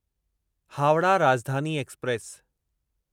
Howrah Rajdhani express